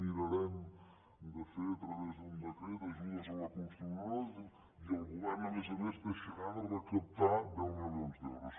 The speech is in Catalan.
mirarem de fer a través d’un decret ajudes a la cons·trucció diu i el govern a més a més deixarà de recaptar deu milions d’euros